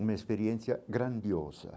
uma experiência grandiosa.